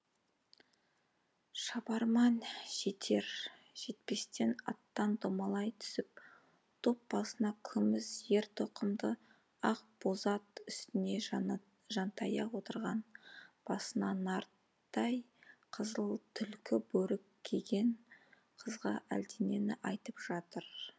шабарман жетер жетпестен аттан домалай түсіп топ басында күміс ер тоқымды ақ боз ат үстінде жантая отырған басына нарттай қызыл түлкі бөрік киген қызға әлденені айтып жатыр